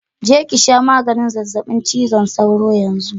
Je ki sha maganin zazzabin cizon sauro yanzu